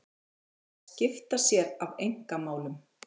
Hann er að skipta sér af einkamálum